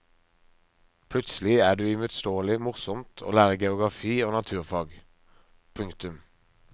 Plutselig er det uimotståelig morsomt å lære geografi og naturfag. punktum